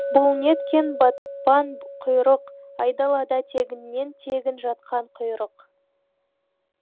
бұл неткен батпан құйрық айдалада тегіннен тегін жатқан құйрық